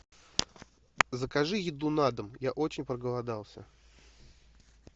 закажи еду на дом я очень проголодался